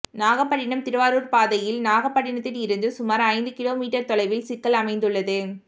நாகப்பட்டினம் திருவாரூர் பாதையில் நாகப்பட்டினத்திலிருந்து சுமார் ஐந்து கிலோ மீட்டர் தொலைவில் சிக்கல் அமைந்துள்ளது